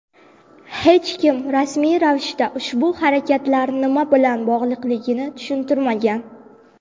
Hech kim rasmiy ravishda ushbu harakatlar nima bilan bog‘liqligini tushuntirmagan.